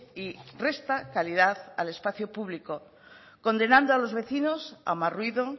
y resta calidad al espacio público condenando a los vecinos a más ruido